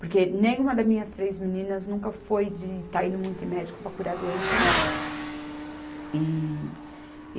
Porque nenhuma das minhas três meninas nunca foi de estar indo muito em médico para curar a doença, não. E